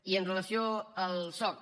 i amb relació al soc